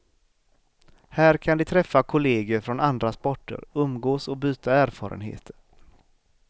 Här kan de träffa kolleger från andra sporter, umgås och byta erfarenheter.